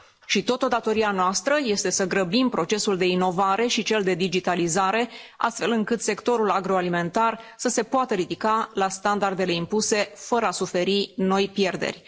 Și tot o datorie a noastră este să grăbim procesul de inovare și cel de digitalizare, astfel încât sectorul agroalimentar să se poată ridica la standardele impuse fără a suferi noi pierderi.